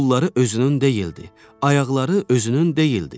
Qolları özünün deyildi, ayaqları özünün deyildi.